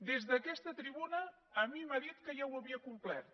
des d’aquesta tribuna a mi m’ha dit que ja ho havia complert